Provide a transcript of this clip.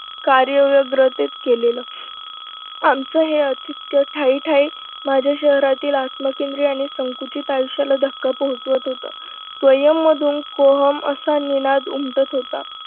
कार्य विभरित केलेलं आमचं हे अतित्य ठायी ठायी. माझ्या शहरातील आत्मकेंद्रीय आणि संकोचीत आयुष्याला धक्का पोहचवत होत. स्वयंमधून कोहम असा निनाद उमटत होता.